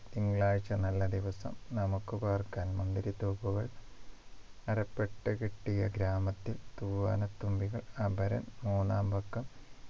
തിങ്കളാഴ്ച നല്ല ദിവസം നമുക്ക് പാർക്കാൻ മുന്തിരിത്തോപ്പുകൾ അരപ്പട്ട കെട്ടിയ ഗ്രാമത്തിൽ തൂവാനത്തുമ്പികൾ അപരൻ മൂന്നാംപക്കം